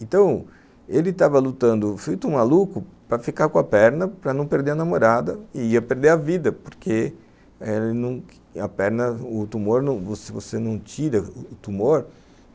Então, ele tava lutando feito um maluco para ficar com a perna, para não perder a namorada e ia perder a vida, porque a perna, o tumor, você não tira o tumor.